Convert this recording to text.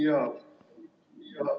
Jaa.